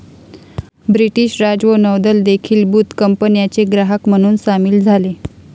British राज व नौदल देखीलबुत कंपन्याचे ग्राहक म्हणून सामील झाले